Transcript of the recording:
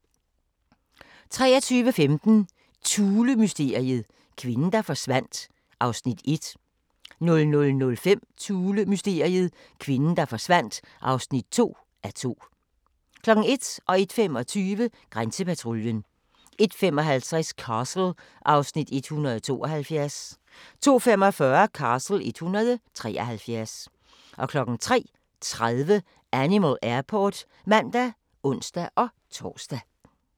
23:15: Thulemysteriet - kvinden, der forsvandt (1:2) 00:05: Thulemysteriet - kvinden, der forsvandt (2:2) 01:00: Grænsepatruljen 01:25: Grænsepatruljen 01:55: Castle (Afs. 172) 02:45: Castle (Afs. 173) 03:30: Animal Airport (man og ons-tor)